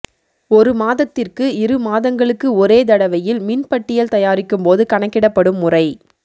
ஒரு மாதத்திற்கு இரு மாதங்களுக்கு ஒரே தடவையில் மின் பட்டியல் தயாரிக்கும்போது கணக்கிடப்படும் முறை